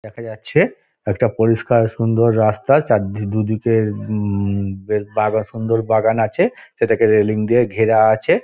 দেখা যাচ্ছে একটা পরিস্কার সুন্দর রাস্তা চারদিক দুদিকে উম-ম বেশ বাগা সুন্দর বাগান আছে সেটাকে রেলিং দিয়ে ঘেরা আছে |